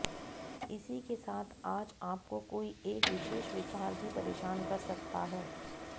इसी के साथ आज आपको कोई एक विशेष विकार भी परेशान कर सकता है